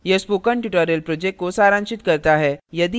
यह spoken tutorial project को सारांशित करता है